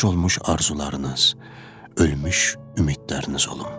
Puc olmuş arzularınız, ölmüş ümidləriniz olum.